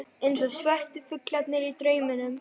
Eins og svörtu fuglarnir í drauminum.